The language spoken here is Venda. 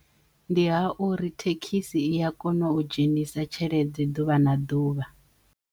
Ndi ha uri thekhisi i ya kono u dzhenisa tshelede ḓuvha na ḓuvha.